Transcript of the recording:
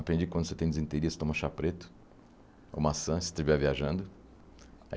Aprendi que quando você tem desinteria, você toma chá preto, ou maçã, se estiver viajando.